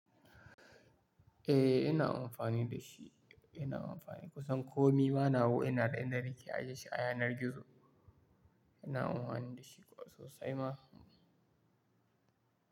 Eh ina amfani da shi, ina amfani kusan komai ma nawa ina da inda nake ajiye shi a yanar gizo, ina amfani da shi kuwa sosai ma.